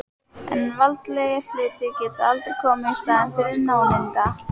En veraldlegir hlutir geta aldrei komið í staðinn fyrir nándina.